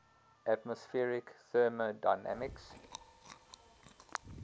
atmospheric thermodynamics